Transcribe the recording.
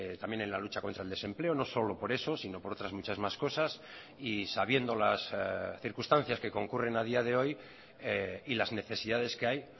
también en la lucha contra el desempleo no solo por eso sino por otras muchas más cosas y sabiendo las circunstancias que concurren a día de hoy y las necesidades que hay